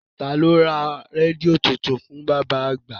Taa ló ra rédíò tuntun fún bàbá àgbà?